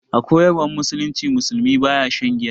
A koyarwan musulunci, musulmi baya shan giya.